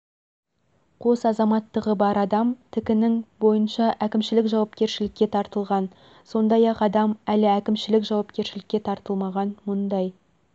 қос азаматтығы бар адам тк-нің бойынша әкімшілік жауапкершілікке тартылған сондай-ақ адам әлі әкімшілік жауапкершілікке тартылмаған мұндай